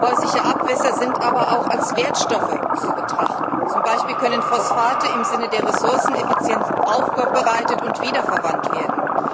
Häusliche Abwässer sind aber auch als Wertstoffe zu betrachten. Zum Beispiel können Phosphate im Sinne der Ressourceneffizienz aufbereitet und wiederverwendet werden.